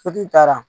Sotigi taara